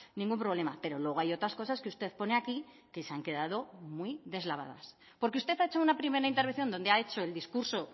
ningún problema pero luego hay otras cosas que usted pone aquí que se han quedado muy deslavadas porque usted ha hecho una primera intervención donde ha hecho el discurso